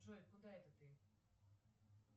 джой куда это ты